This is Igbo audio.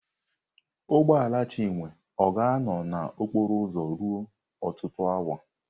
Ụgbọ ala Chinwe ọ ga-anọ na okporo ụzọ ruo ọtụtụ awa?